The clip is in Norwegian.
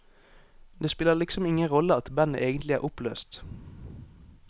Det spiller liksom ingen rolle at bandet egentlig er oppløst.